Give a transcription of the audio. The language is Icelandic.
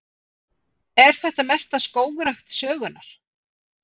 Er þetta mesta skógrækt sögunnar